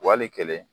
Wali kelen